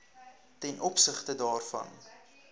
ten opsigte daarvan